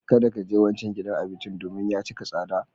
Kada ka je wancan gidan abincin domin ya cika tsada.